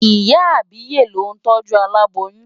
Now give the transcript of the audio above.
Ìyá àbíyè ló ń tọ́jú aláboyún.